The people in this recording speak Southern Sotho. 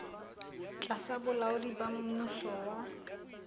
tlasa bolaodi ba mmuso wa